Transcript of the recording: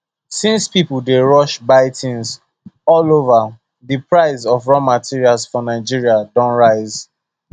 since people dey rush buy things all over the price of raw materials for naija don rise